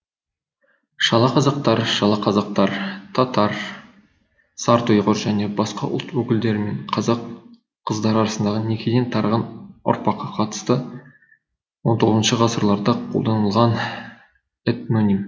шалақазақтар шала қазақтар татар сарт ұйғыр және басқа ұлт өкілдері мен қазақ қыздары арасындағы некеден тараған ұрпаққа қатысты он тоғызыншы ғасырларда қолданылған этноним